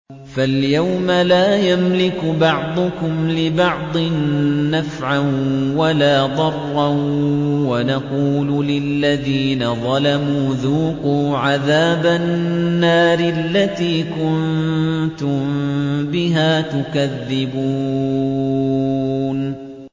فَالْيَوْمَ لَا يَمْلِكُ بَعْضُكُمْ لِبَعْضٍ نَّفْعًا وَلَا ضَرًّا وَنَقُولُ لِلَّذِينَ ظَلَمُوا ذُوقُوا عَذَابَ النَّارِ الَّتِي كُنتُم بِهَا تُكَذِّبُونَ